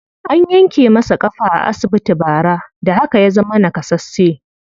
An yanke masa ƙafa a asibiti bara, da haka ya zama naƙasasshe.